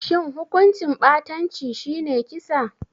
Shin hukuncin ɓatanci shi ne kisa?